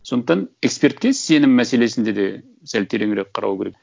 сондықтан экспертке сенім мәселесінде де сәл тереңірек қарау керек